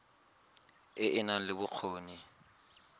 e e nang le bokgoni